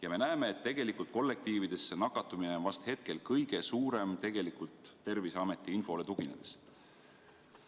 Ja me näeme, et tegelikult kollektiivides see nakatumine on vast hetkel kõige suurem tegelikult Terviseameti infole tuginedes.